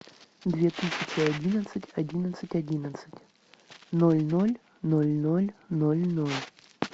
две тысячи одиннадцать одиннадцать одиннадцать ноль ноль ноль ноль ноль ноль